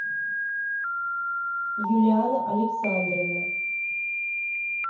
юлианна александровна